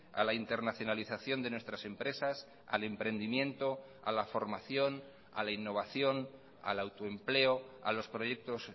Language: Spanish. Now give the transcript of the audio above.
a la internacionalización de nuestras empresas al emprendimiento a la formación a la innovación al autoempleo a los proyectos